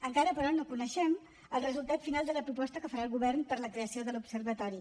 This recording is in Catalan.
encara però no coneixem el resultat final de la proposta que farà el govern per a la creació de l’observatori